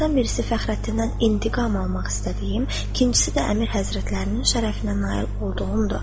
Onlardan birisi Fəxrəddindən intiqam almaq istədiyim, ikincisi də Əmir həzrətlərinin şərəfinə nail olduğumdur.